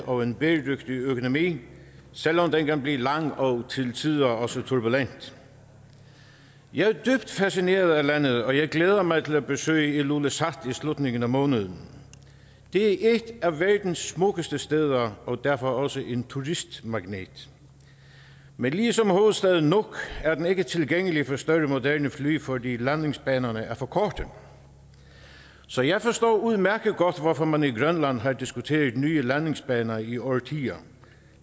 og en bæredygtig økonomi selv om den kan blive lang og til tider også turbulent jeg er dybt fascineret af landet og jeg glæder mig til at besøge ilulissat i slutningen af måneden det er et af verdens smukkeste steder og derfor også en turistmagnet men ligesom hovedstaden nuuk er den ikke tilgængelig for større moderne fly fordi landingsbanerne er for korte så jeg forstår udmærket godt hvorfor man i grønland har diskuteret nye landingsbaner i årtier